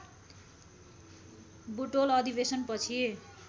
बुटवल अधिवेशन पछि